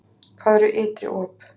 Hvað eru ytri op?